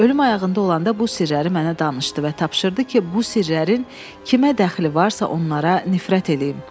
Ölüm ayağında olanda bu sirləri mənə danışdı və tapşırdı ki, bu sirlərin kimə dəxli varsa, onlara nifrət eləyim.